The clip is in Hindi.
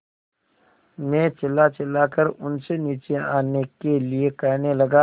मैं चिल्लाचिल्लाकर उनसे नीचे आने के लिए कहने लगा